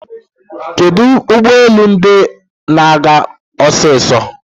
Kedu ụgbọelu ndi na-aga osiso?